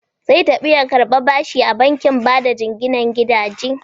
Zai tafi ya karɓi bashi a bankin bada jinginan gidaje.